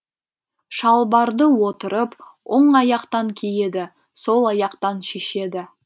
шалбарды отырып оң аяқтан киеді сол аяқтан шешеді